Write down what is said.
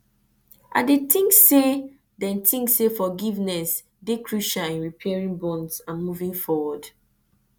i dey think say dey think say forgiveness dey crucial in repairing bonds and moving forward